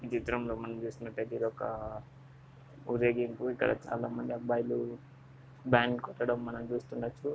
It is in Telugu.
ఈ చిత్రంలో మనం చూసుకున్నట్లయితే ఇదొక ఊరేగింపు ఇక్కడ చాలామంది అబ్బాయిలు బ్యాండ్ కొట్టడం మనం చూస్తున్న.